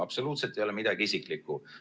Absoluutselt ei ole midagi isiklikku.